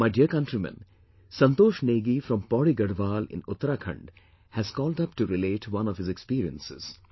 My dear countrymen, Santosh Negi from Pauri Garhwal in Uttarakhand, has called up to relate one of his experiences